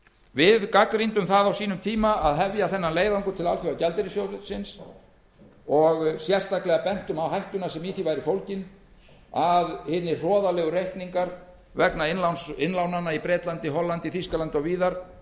við gagnrýndum það á sínum tíma að hefja þennan leiðangur til alþjóðagjaldeyrissjóðsins og bentum sérstaklega á hættuna sem í því væri fólgin að hinir hroðalegu reikningar vegna innlána í bretlandi hollandi þýskalandi og víðar